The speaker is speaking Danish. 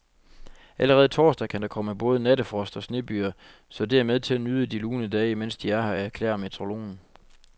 Allerede torsdag kan der komme både nattefrost og snebyger, så det er med at nyde de lune dage, mens de er her, erklærer metrologen.